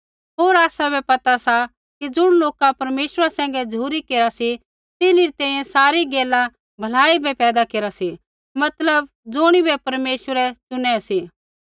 होर आसाबै पता सा कि ज़ुण लोका परमेश्वरा सैंघै झ़ुरी केरा सी तिन्हरी तैंईंयैं सारी गैला भलाई बै पैदा केरा सी मतलब ज़ुणिबै परमेश्वरै चुनै सी